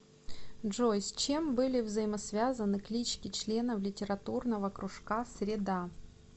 джой с чем были взаимосвязаны клички членов литературного кружка среда